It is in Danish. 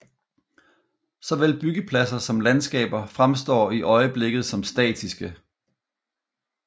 Såvel byggepladser som landskaber fremstår i øjeblikket som statiske